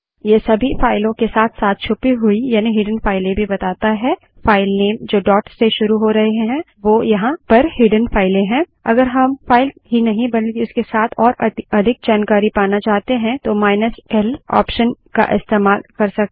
ये सभी फाइलों के साथ साथ छुपी हुई यानि हिडन फाइलें भी बताता हैफाइल नेम जो डॉट से शुरू हो रहे हैं वो यहाँ पर हिडन फाइलें हैं अगर हम फाइल ही नहीं बल्कि उसके साथ और अधिक जानकारी पाना चाहते हैं तो माईनस ल ऑप्शन का इस्तेमाल कर सकते हैं